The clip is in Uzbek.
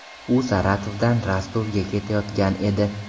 U Saratovdan Rostovga ketayotgan edi.